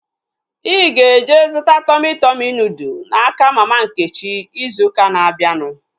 Ịga eje zụta Tọmị Tọmị nudụ n'aka mama Nkechi izu ụka na-abịanụ